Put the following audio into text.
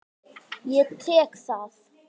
Ég tek það!